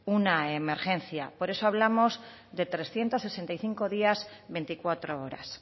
una emergencia por eso hablamos de trescientos sesenta y cinco días veinticuatro horas